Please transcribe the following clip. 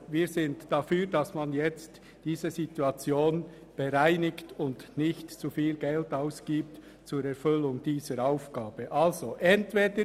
Wir sind dafür, diese Situation nun zu bereinigen und nicht zu viel Geld für die Erfüllung dieser Aufgabe auszugeben.